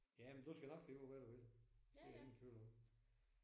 Jamen du skal nok finde ud af hvad du vil det er der ingen tvivl om